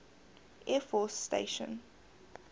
air force station